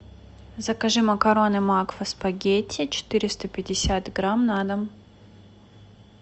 закажи макароны макфа спагетти четыреста пятьдесят грамм на дом